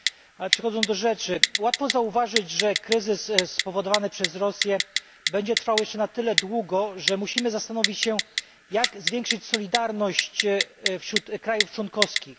Ale przechodząc do rzeczy, łatwo zauważyć, że kryzys spowodowany przez Rosję będzie trwał jeszcze na tyle długo, że musimy zastanowić się, jak zwiększyć solidarność wśród krajów członkowskich.